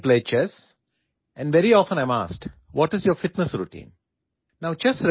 আপোনালোকে মোক দবা খেলা দেখিছে আৰু মোক প্ৰায়ে মোৰ ফিটনেছ ৰুটিনৰ বিষয়ে সোধা হয়